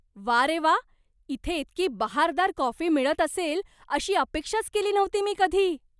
वा रे वाह! इथे इतकी बहारदार कॉफी मिळत असेल अशी अपेक्षाच केली नव्हती मी कधी.